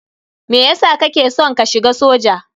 Meyasa kake san ka shiga soja?